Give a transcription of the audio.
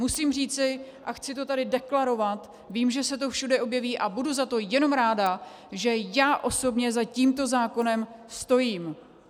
Musím říci, a chci to tady deklarovat, vím, že se to všude objeví, a budu za to jenom ráda, že já osobně za tímto zákonem stojím.